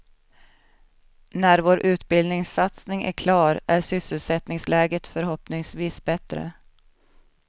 När vår utbildningssatsning är klar är sysselsättningsläget förhoppningsvis bättre.